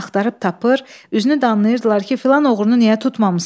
Axtarıb tapır, üzünü danlayırdılar ki, filan oğrunu niyə tutmamısan?